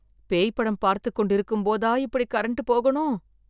பேய் படம் பார்த்துக்கொண்டு இருக்கும் போதா இப்படி கரண்ட் போகணும்?